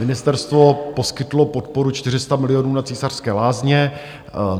Ministerstvo poskytlo podporu 400 milionů na Císařské lázně.